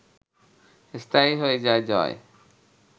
স্থায়ী হয়ে যায় জয়